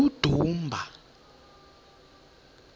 udumba